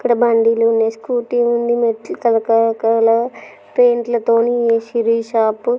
ఇక్కడ బండిలు ఉన్నాయి స్కూటీ లు ఉన్నాయి మెట్లు రకరకాల పెయింట్లు తోని వేసిండ్రు ఈ షాపు .